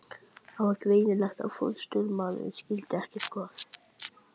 Það var greinilegt að forstöðumaðurinn skildi ekkert hvað